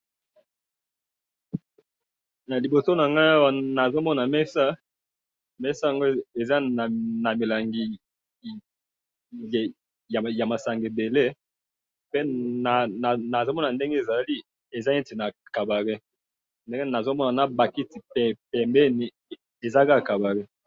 Naliboso nangayi awa nazomona mesa, mesa yango eza namilangi yamasanga ebele, pe nazomona ndenge ezali, eza neti na cabaret, ndenge nazomona na bakiti pembeni, eza kaka cabaret.